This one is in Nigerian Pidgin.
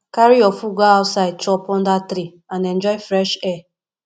carry your food go outside chop under tree and enjoy fresh air